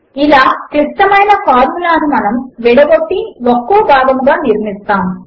ఇలా క్లిష్టమైన ఫార్ములాను మనము విడగొట్టి ఒక్కో భాగముగా నిర్మిస్తాము